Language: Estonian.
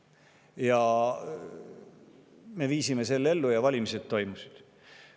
Ja me viisime selle ellu, valimised toimusid.